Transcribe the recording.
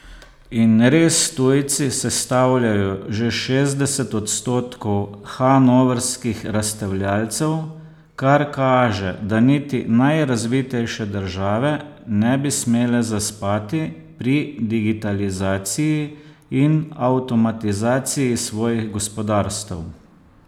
In res tujci sestavljajo že šestdeset odstotkov hannovrskih razstavljavcev, kar kaže, da niti najrazvitejše države ne bi smele zaspati pri digitalizaciji in avtomatizaciji svojih gospodarstev.